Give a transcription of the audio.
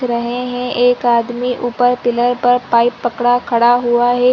रहे हैं एक आदमी ऊपर पिलर पर पाइप पकड़ा खड़ा हुआ है।